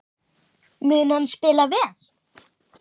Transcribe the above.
Mun hann spila vel?